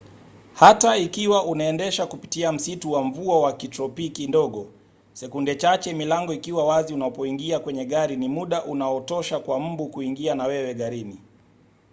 hata ikiwa unaendesha kupitia msitu wa mvua wa kitropiki ndogo sekunde chache milango ikiwa wazi unapoingia kwenye gari ni muda unaotosha kwa mbu kuingia na wewe garini